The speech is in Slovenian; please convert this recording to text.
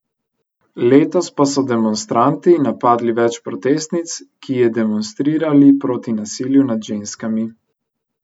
Letos pa so demonstranti napadli več protestnic, ki je demonstrirali proti nasilju nad ženskami.